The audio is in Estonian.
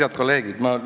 Head kolleegid!